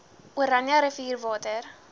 oranje rivier water